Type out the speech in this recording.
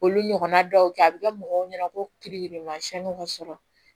Olu ɲɔgɔnna dɔw kɛ a bɛ kɛ mɔgɔw ɲɛna ko kirikirimasiyɛnw sɔrɔ